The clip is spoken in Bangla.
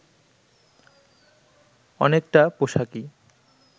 অনেকটা পোশাকি